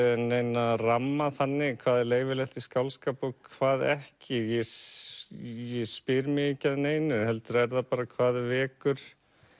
neina ramma þannig hvað er leyfilegt í skáldskap og hvað ekki ég spyr mig ekki að neinu heldur er það bara hvað vekur